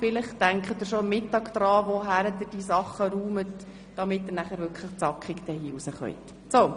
Vielleicht überlegen Sie sich schon am Mittag, wo Sie ihre Sachen deponieren, damit Sie anschliessend den Saal auch wirklich zackig verlassen können.